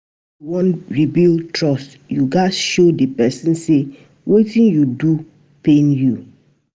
if yu wan rebuild trust, yu gats show di pesin say wetin you do pain you.